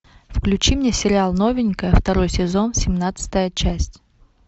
включи мне сериал новенькая второй сезон семнадцатая часть